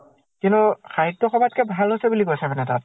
কিন্তু সাহিত্য় সভাত কে ভাল হৈছে বুলি কৈছে মানে তাত